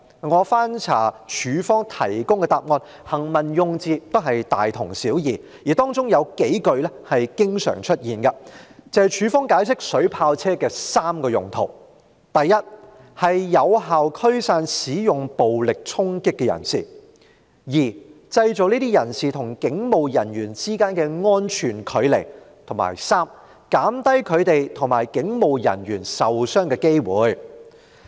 我翻查過警方提供的答覆，當中的行文用字也是大同小異，而有數句經常出現，就是警方解釋水炮車的3個用途：第一，是有效驅散使用暴力衝擊的人士；第二，製造這些人士與警務人員之間的安全距離；及第三，減低他們與警務人員受傷的機會。